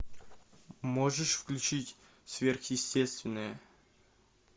можешь включить сверхъестественное